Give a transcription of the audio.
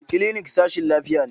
Clinic sashin lafiya ne.